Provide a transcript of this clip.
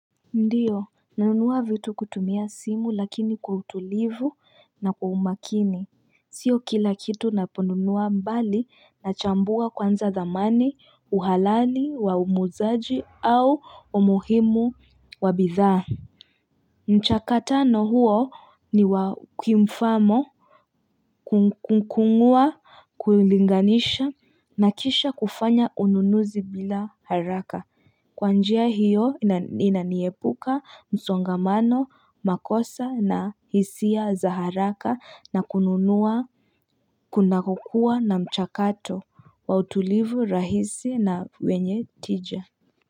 Ndiyo nanunua vitu kutumia simu lakini kwa utulivu na kwa umakini sio kila kitu naponunuwa mbali nachambua kwanza dhamani, uhalani wa muzaaji au umuhimu wa bidhaa. Mchakatano huo ni wa kimfano kukung'ua, kulinganisha na kisha kufanya ununuzi bila haraka. Kwa njia hiyo inaniepuka msongamano makosa na hisia za haraka na kununua kuna kukua na mchakato wa utulivu rahisi na wenye tija.